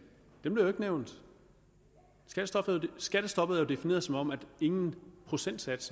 ikke nævnt skattestoppet er jo defineret som at ingen procentsats